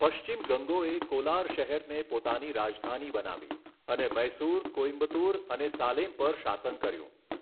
પશ્ચિમ ગંગોએ કોલાર શહેરને પોતાની રાજધાની બનાવી અને મૈસુર, કોઇમ્બતુર અને સાલેમ પર શાસન કર્યું.